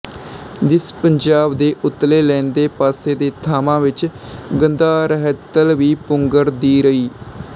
ਦਿਸ ਪੰਜਾਬ ਦੇ ਉਤਲੇ ਲੈਂਦੇ ਪਾਸੇ ਦੇ ਥਾਂਵਾਂ ਵਿੱਚ ਗਾੰਧਾਰ ਰਹਿਤਲ ਵੀ ਪੁੰਗਰ ਦੀ ਰਈ